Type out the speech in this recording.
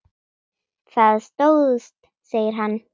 Það stóðst, segir hann.